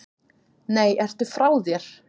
Nei, ertu frá þér?